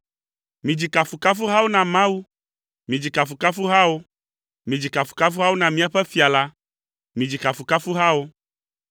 Midzi kafukafuhawo na Mawu, midzi kafukafuhawo; midzi kafukafuhawo na míaƒe Fia la, midzi kafukafuhawo,